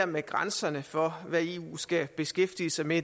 med grænserne for hvad eu skal beskæftige sig med